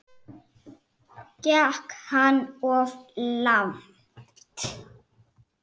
Gekk hann of langt?